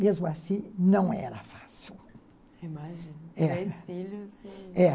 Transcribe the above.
Mesmo assim, não era fácil. Eu imagino três filhos, é